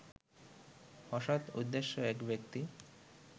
অসৎ উদ্দেশ্যে এক ব্যক্তি